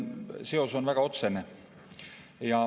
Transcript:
Seos on väga otsene.